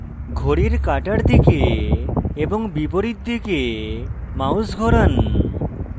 ঘড়ির কাঁটার দিকে এবং বিপরীত দিকে mouse ঘোরান